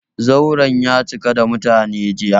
Zauren ya cika da mutane, jiya.